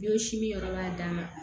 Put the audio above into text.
Yɔrɔ si min yɔrɔ b'a dan ma